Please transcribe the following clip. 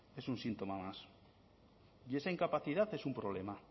es un síntoma más y esa incapacidad es un problema